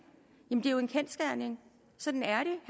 er jo en kendsgerning sådan er det